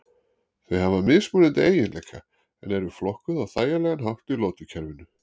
Þau hafa mismunandi eiginleika en eru flokkuð á þægilegan hátt í lotukerfinu.